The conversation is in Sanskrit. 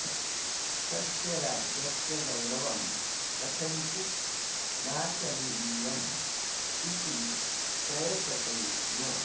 तस्य राज्यस्य गौरवं कथञ्चित् नाशनीयम् इति प्रयतते स्म